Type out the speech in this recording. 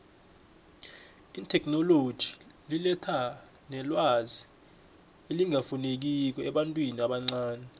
itheknoloji iletha nelwazi elingafinekiko ebantwini abancani